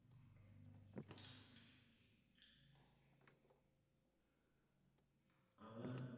আবার